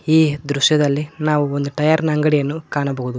ಈ ದೃಶ್ಯದಲ್ಲಿ ನಾವು ಒಂದು ಟೈಯರ್ ನ ಅಂಗಡಿಯನ್ನು ಕಾಣಬೋಹುದು.